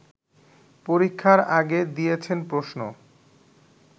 পরীক্ষার আগে দিয়েছেন প্রশ্ন